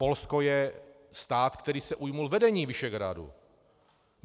Polsko je stát, který se ujmul vedení Visegrádu.